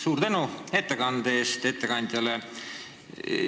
Suur tänu ettekande eest ettekandjale!